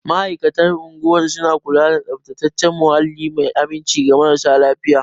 Ma'aikatan unguwar suna kula da tsaftataccen muhalli mai aminci ga marasa lafiya.